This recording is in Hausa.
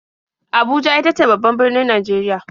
Abuja ita ce babban birnin Najeriya.